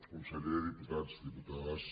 conseller diputats diputades